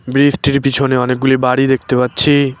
ব্রিজটির পিছনে অনেকগুলো বাড়ি দেখতে পাচ্ছি।